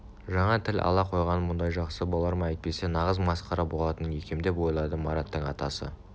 жаңа тіл ала қойғаным мұндай жақсы болар ма әйтпесе нағыз масқара болатын екемдеп ойлады мараттың атасы